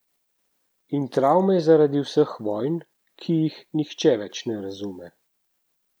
In travme zaradi vseh teh vojn, ki jih nihče več ne razume.